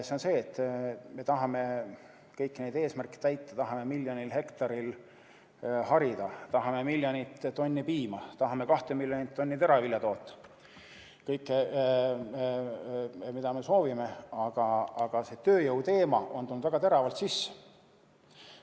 See on see, et me tahame kõiki neid eesmärke täita, tahame miljonil hektaril harida, tahame miljonit tonni piima, tahame kahte miljonit tonni teravilja toota, kõike, mida me soovime, aga väga teravalt on tulnud sisse tööjõuteema.